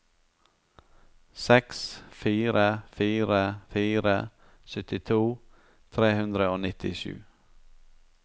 seks fire fire fire syttito tre hundre og nittisju